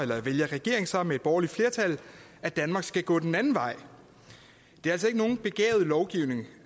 her vælger regeringen så med et borgerligt flertal at danmark skal gå den anden vej det er altså ikke nogen begavet lovgivning